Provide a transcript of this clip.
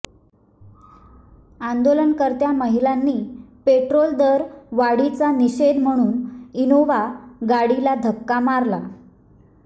आंदोलनकर्त्या महिलांनी पेट्रोल दरवाढीचा निषेध म्हणून इनोव्हा गाडीला धक्का मारला